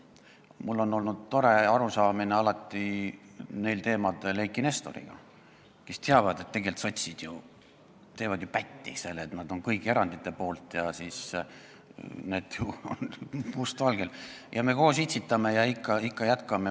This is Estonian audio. Mul on olnud neil teemadel alati tore ühine arusaam Eiki Nestoriga, sest tegelikult sotsid teevad ju pätti sellega, et nad on kõigi erandite poolt – need on must valgel olemas –, aga siis me koos itsitame ja jätkame.